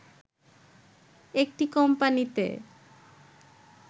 একটি কোম্পানিতে